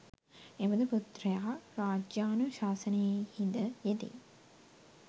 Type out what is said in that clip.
එබඳු පුත්‍රයා රජ්‍යානු ශාසනයෙහි ද යෙදෙයි.